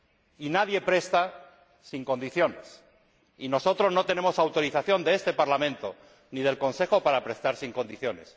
y nadie presta sin condiciones, y nosotros no tenemos autorización de este Parlamento ni del Consejo para prestar sin condiciones.